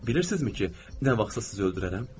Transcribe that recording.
Bilirsinizmi ki, nə vaxtsa sizi öldürərəm?